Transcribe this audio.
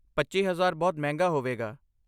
ਪੱਚੀ ਹਜ਼ਾਰ ਬਹੁਤ ਮਹਿੰਗਾ ਹੋਵੇਗਾ